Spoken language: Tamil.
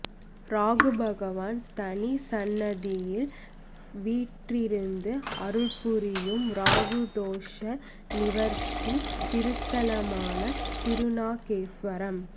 ராகு பகவான் தனி சந்நதியில் வீற்றிருந்து அருள் புரியும் ராகு தோஷ நிவர்த்தி திருத்தலமான திருநாகேஸ்வரம்